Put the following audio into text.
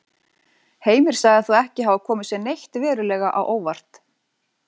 Heimir sagði þá ekki hafa komið sér neitt verulega á óvart.